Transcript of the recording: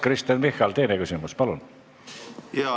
Kristen Michal, teine küsimus, palun!